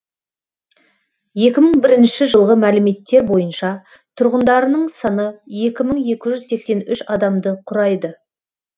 екі мың бірінші жылғы мәліметтер бойынша тұрғындарының саны екі мың екі жүз сексен үш адамды құрайды